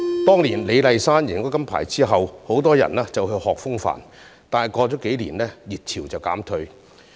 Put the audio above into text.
當年李麗珊贏得金牌後，很多人學習風帆，但過了幾年，熱潮便告減退。